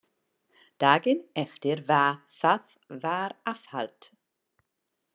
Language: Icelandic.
Daginn eftir var það var afhalt.